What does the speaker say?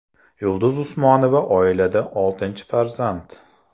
Yulduz Usmonova oilada oltinchi farzand.